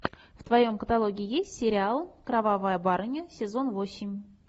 в твоем каталоге есть сериал кровавая барыня сезон восемь